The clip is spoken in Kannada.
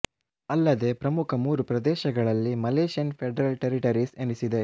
ಅಲ್ಲದೇ ಪ್ರಮುಖ ಮೂರು ಪ್ರದೇಶಗಳಲ್ಲಿ ಮಲೆಷ್ಯನ್ ಫೆಡ್ರಲ್ ಟೆರಿಟರೀಸ್ ಎನಿಸಿದೆ